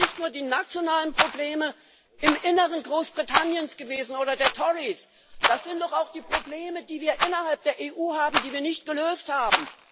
Das sind doch nicht nur die nationalen Probleme im Inneren Großbritanniens oder der Tories gewesen, das sind doch auch die Probleme, die wir innerhalb der EU haben, die wir nicht gelöst haben.